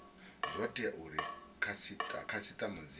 zwo tea uri khasitama dzi